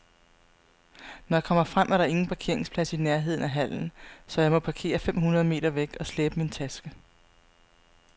Når jeg kommer frem, er der ingen parkeringsplads i nærheden af hallen, så jeg må parkere fem hundrede meter væk og slæbe min taske.